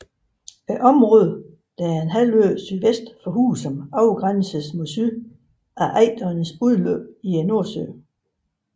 Området der er en halvø sydvest for Husum afgrænses mod syd af Ejderens udløb i Nordsøen